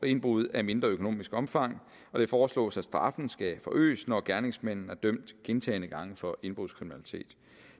indbrud af mindre økonomisk omfang det foreslås at straffen skal forøges når gerningsmanden er dømt gentagne gange for indbrudskriminalitet